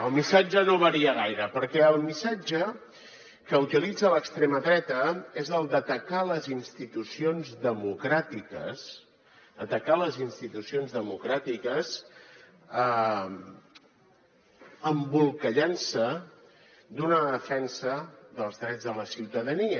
el missatge no varia gaire perquè el missatge que utilitza l’extrema dreta és el d’atacar les institucions democràtiques atacar les institucions democràtiques embolcallant se d’una defensa dels drets de la ciutadania